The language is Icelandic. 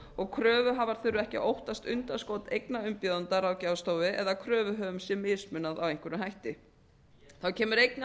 og kröfuhafar þurfi ekki að óttast undanskot eigna umbjóðenda ráðgjafarstofu eða að kröfuhöfum verði mismunað með einhverjum hætti þá kemur einnig